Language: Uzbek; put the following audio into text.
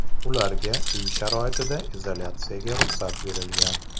Ularga uy sharoitida izolyatsiyaga ruxsat berilgan.